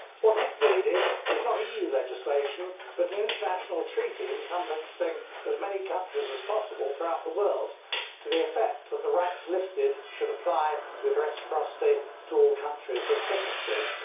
What is needed is not EU legislation but an international treaty encompassing as many countries as possible throughout the world, to the effect that the rights listed should apply with reciprocity to all countries that are signatories.